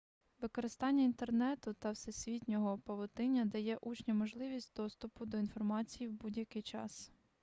використання інтернету та всесвітнього павутиння дає учням можливість доступу до інформації в будь-який час